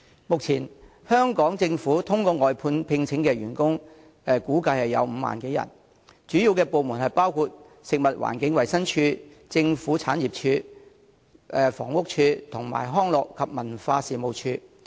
目前，香港政府透過外判聘請的員工估計有5萬多人，主要部門包括食物環境衞生署、政府產業署、房屋署和康樂及文化事務署。